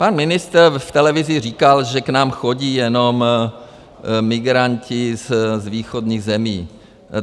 Pan ministr v televizi říkal, že k nám chodí jenom migranti z východních zemí.